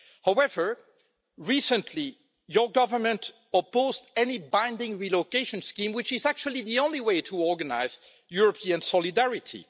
However, recently your government opposed any binding relocation scheme which is actually the only way to organise European solidarity.